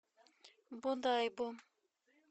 бодайбо